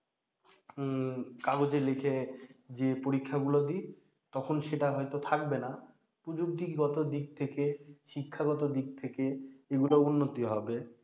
উম কাগজে লিখে যে পরীক্ষাগুলো দেই তখন সেটা হয়তোবা থাকবে না প্রযুক্তিগত দিক থেকে শিক্ষাগত দিক থেকে এগুলো উন্নতি হবে